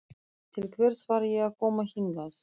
Til hvers var ég að koma hingað?